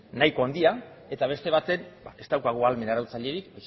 arautzailea nahiko handia eta beste batean ez daukagu ahalmen